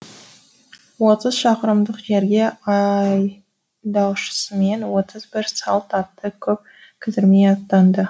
отыз шақырымдық жерге айдаушысымен отыз бір салт атты көп кідірмей аттанды